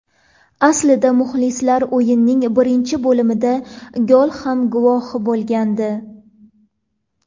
Aslida muxlislar o‘yinning birinchi bo‘limida gol ham guvohi bo‘lgandi.